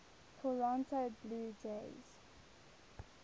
toronto blue jays